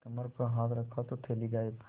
कमर पर हाथ रखा तो थैली गायब